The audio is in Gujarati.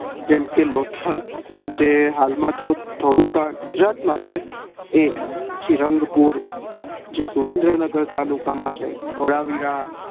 જેમકે લોથલ જે હાલ માં તો થોડું ગુજરાત માં છે એ રંગપુર જે સુરેદ્રનગર તાલુકા માં છે ધોળાવીરા